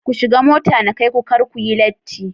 Ku shiga mota na kaiku kar kuyi latti